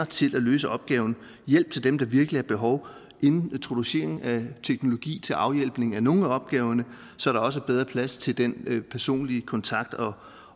til at løse opgaven hjælp til dem der virkelig har behov introduktion af teknologi til afhjælpning af nogle af opgaverne så der også er bedre plads til den personlige kontakt